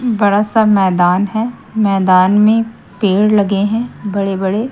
बड़ा सा मैदान है। मैदान में पेड़ लगे हैं बड़े बड़े।